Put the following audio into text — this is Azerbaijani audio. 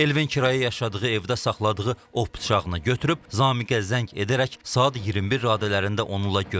Elvin kirayə yaşadığı evdə saxladığı ov bıçağını götürüb Zamiqə zəng edərək saat 21 radələrində onunla görüşüb.